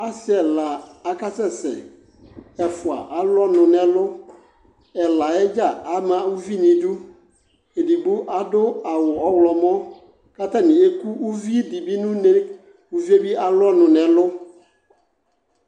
Ɔsɩ ɛna akasɛ sɛ Ɛfʋa alʋɔnʋ n'ɛlʋ, ɛlayɛ dza ama uvi n'idu Edigbo zdʋ awʋ ɔɣlɔmɔ katanɩ eku uvidɩ bɩ n'une, uvie bɩ alʋ ɔnʋ n'ɛlʋ